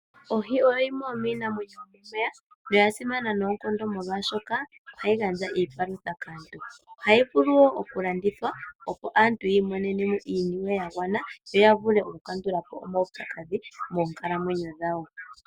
Oho oyo yimwe yomiinamwenyo yomomeya noya simana noonkondo molwaashoka ohayi gandja iipalutha kaantu. Ohayi vulu wo oku landithwa opo aantu yi imonene mo iiniwe ya gwana, yo ya vule oku kandula po omaupyakadhi moonkalamwenyo dhawo.